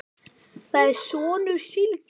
Ég er sonur Sylgju